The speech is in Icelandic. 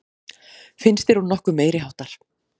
Finnst þér hún nokkuð meiriháttar?